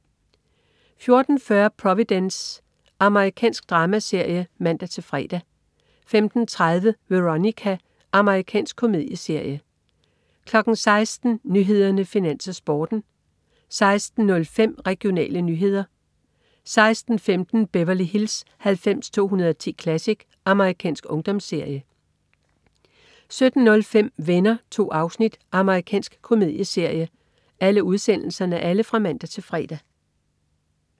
14.40 Providence. Amerikansk dramaserie (man-fre) 15.30 Veronica. Amerikansk komedieserie (man-fre) 16.00 Nyhederne, Finans, Sporten (man-fre) 16.05 Regionale nyheder (man-fre) 16.15 Beverly Hills 90210 Classic. Amerikansk ungdomsserie (man-fre) 17.05 Venner. 2 afsnit. Amerikansk komedieserie (man-fre)